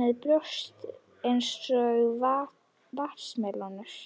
með brjóst eins og vatnsmelónur.